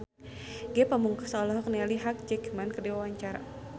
Ge Pamungkas olohok ningali Hugh Jackman keur diwawancara